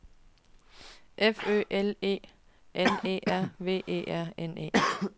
F Ø L E N E R V E R N E